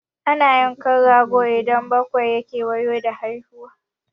Ana yanka rago idan bakwai ya kewayo da haihuwa.